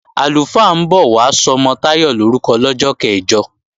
Àlùfáà ń bọ̀ wá sọmọ Táyọ̀ lorúkọ lọ́jọ́ kẹ̀jọ